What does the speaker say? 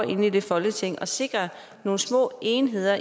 inde i det folketing at sikre nogle små enheder